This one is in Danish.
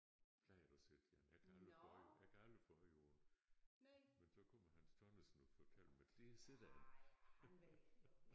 Plejede at se den jeg kan aldrig få øje jeg kan aldrig få øje på den men så kommer Hans Tonnesen og fortæller mig der sidder den